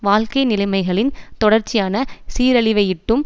வாழ்க்கை நிலைமைகளின் தொடர்ச்சியான சீரழிவையிட்டும்